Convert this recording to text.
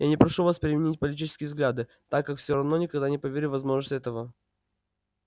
я не прошу вас переменить политические взгляды так как все равно никогда не поверю в возможность этого